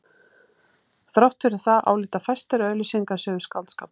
Þrátt fyrir það álíta fæstir að auglýsingar séu skáldskapur.